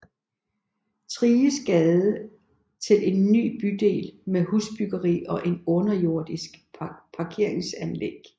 Thriges Gade til en ny bydel med husbyggeri og et underjordisk parkeringsanlæg